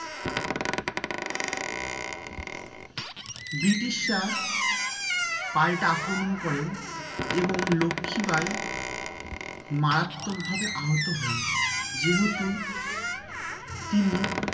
British রা পাল্টা আক্রমণ করেন এবং লক্ষি বাই মারাত্মক ভাবে আহত হন যেহুতু তিনি